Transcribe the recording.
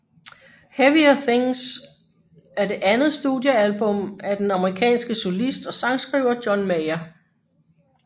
Heavier Things er det andet studiealbum af den amerikanske solist og sangskriver John Mayer